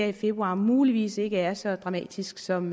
i februar muligvis ikke er så dramatisk som